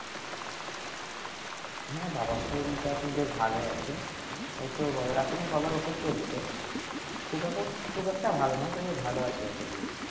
হ্যাঁ বাবার শরীরটা এখন বেশ ভালই আছে এইতো বাবার এখনো বাবার ওষুধ চলছে খুব একটা ভালো নয় তবে এখন ভালো আছে বেশ